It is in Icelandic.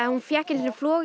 hún fékk einu sinni flog